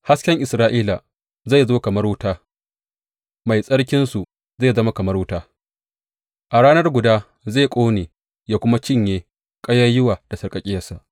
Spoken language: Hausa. Hasken Isra’ila zai zo kamar wuta, Mai Tsarkinsu zai zama kamar wuta; a rana guda zai ƙone yă kuma cinye ƙayayyuwa da sarƙaƙƙiyarsa.